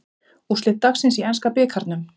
Úrslit dagsins í enska bikarnum